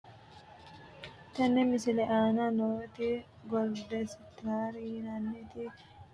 Tini misilete aana nooti goldestar yinaniti rimoote gonete uurisidhe ise kayi goxe afantano yaate rimootete aleeni mitto kumenna setawo yine boresinooni.